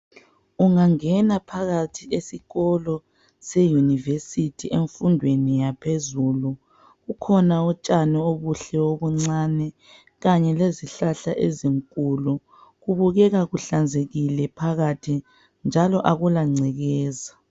Ungangena phakathi esikolo seUniversity emfundweni yaphezulu. Kukhona utshani obuhle obuncane kanye lezihlahla ezinkulu. Kubukeka kuhlanzekile phakathi njalo akulangcekeza.